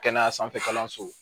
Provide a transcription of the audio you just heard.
Kɛnɛya sanfɛ kalanso